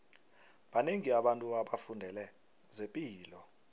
banengi abantu abafundele zepilo